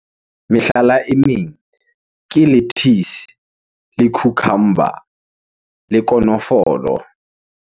Mehlala e meng ke lettuce, le cucumber le konofolo.